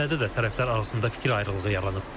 Bu məsləhətdə də tərəflər arasında fikir ayrılığı yaranıb.